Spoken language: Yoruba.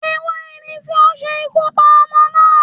Ẹwá ẹni ti o se ikú pa ọmọ naa